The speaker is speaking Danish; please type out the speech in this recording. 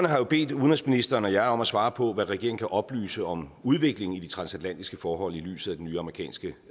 har jo bedt udenrigsministeren og jeg om at svare på hvad regeringen kan oplyse om udviklingen i det transatlantiske forhold set i lyset af den nye amerikanske